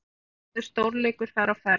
Sannkallaður stórleikur þar á ferð.